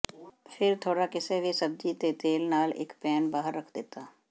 ਫਿਰ ਥੋੜ੍ਹਾ ਕਿਸੇ ਵੀ ਸਬਜ਼ੀ ਦੇ ਤੇਲ ਨਾਲ ਇੱਕ ਪੈਨ ਬਾਹਰ ਰੱਖ ਦਿੱਤਾ